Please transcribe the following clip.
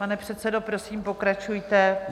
Pane předsedo, prosím pokračujte.